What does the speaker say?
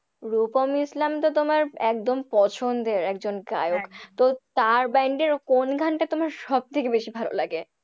রূপম ইসলাম তো তোমার একদম পছন্দের একজন গায়ক তো তার band এর কোন গানটা তোমার সবথেকে বেশি ভালোলাগে?